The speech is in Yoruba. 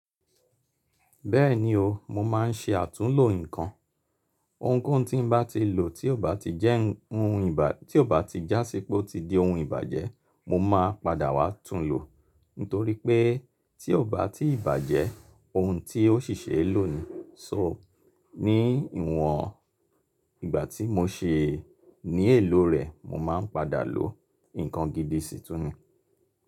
Bẹ́ẹ̀ni o, mo máa ń ṣe àtúnlo nǹkan. Ohunkóhun tí mo bá ti lò tí ò bá ti jási pé ó ti di ohun ìbàjẹ́, mo máa padà wá tún un lò. Nítorí pé tí ò bá ti ìbàjẹ́, ohun tí ó ṣì ṣe é lò ni. So, ní ìwọ̀n ìgbà tí mo ṣe ní èlò rẹ̀, mo máa ń padà lò. Ǹkan gidi sì tún ni.